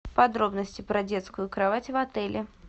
подробности про детскую кровать в отеле